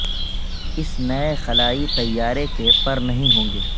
اس نئے خلائی طیارے کے پر نہیں ہوں گے